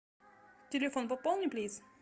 телефон пополни плиз